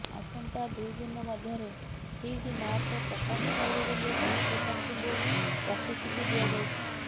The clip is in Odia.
ଆସନ୍ତା ଦୁଇ ଦିନ ମଧ୍ୟରେ ଠିକ ମାର୍କ ପ୍ରକାଶ ପାଇବ ବୋଲି ଛାତ୍ରଛାତ୍ରୀଙ୍କୁ ପ୍ରତିଶ୍ରୁତି ଦିଆଯାଇଛି